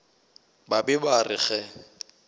ba be ba re ge